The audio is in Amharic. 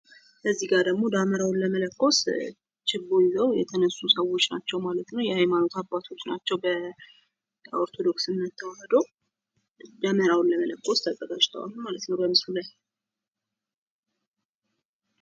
እዚጋ ደሞ ደመራዉን ለመለኮስ ችቦ ይዘው የተነሱ ሰዎች ናቸው ማለት ነው የሃይማኖት አባቶች ናቸው በኦርቶዶክስ እምነት ተዋሕዶ ፤ ደመራዉን ለመለኮስ ተዘጋጅተዋል ማለት ነው በምስሉ ላይ።